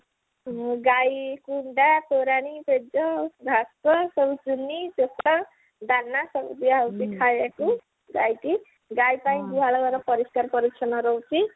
ଗାଇ କୁଣ୍ଡ ତୋରାଣି ପେଜ ଭାତ ସବୁ ଚୋପା ଦାନା ସବୁ ଖାଇବାକୁ ଗାଇକୁ ଗାଈପାଇଁ ଗୁହାଳ ଘର ପରିଷ୍କାର ପରିଛନ୍ନ ରହୁଛି